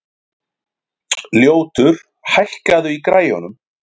Ljótur, hækkaðu í græjunum.